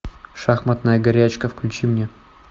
шахматная горячка включи мне